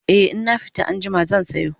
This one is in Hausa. e in na fita anjima zan sayo